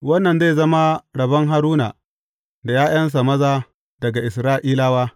Wannan zai zama rabon Haruna da ’ya’yansa maza daga Isra’ilawa.